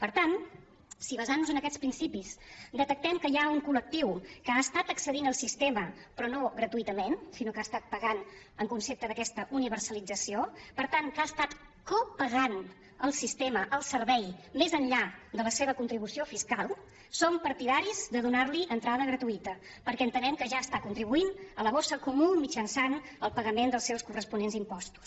per tant si basant nos en aquests principis detectem que hi ha un col·lectiu que ha estat accedint al sistema però no gratuïtament sinó que ha estat pagant en concepte d’aquesta universalització per tant que ha estat copagant el sistema el servei més enllà de la seva contribució fiscal som partidaris de donar li entrada gratuïta perquè entenem que ja està contribuint a la bossa comuna mitjançant el pagament dels seus corresponents impostos